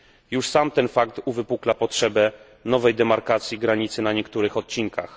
Już sam ten fakt uwypukla potrzebę nowej demarkacji granicy na niektórych odcinkach.